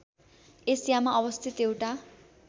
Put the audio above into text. एसियामा अवस्थित एउटा